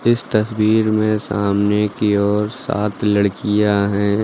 इस तस्वीर में सामने की ओर सात लड़कियां हैं।